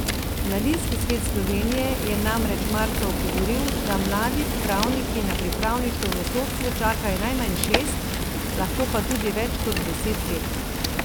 Mladinski svet Slovenije je namreč marca opozoril, da mladi pravniki na pripravništvo v sodstvu čakajo najmanj šest, lahko pa tudi več kot deset let.